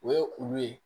O ye olu ye